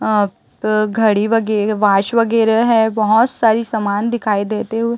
अह घड़ी वगैरा वाच वगैरा है बहोत सारी समान दिखाई देते हुए--